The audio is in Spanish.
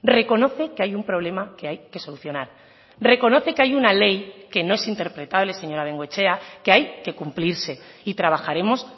reconoce que hay un problema que hay que solucionar reconoce que hay una ley que no es interpretable señora bengoechea que hay que cumplirse y trabajaremos